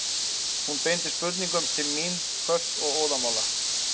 Hún beindi spurningunum til mín, hvöss og óðamála.